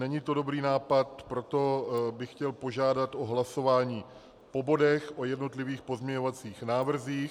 Není to dobrý nápad, proto bych chtěl požádat o hlasování po bodech, o jednotlivých pozměňovacích návrzích.